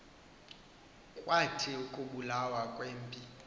kwathi ukubulawa kwempi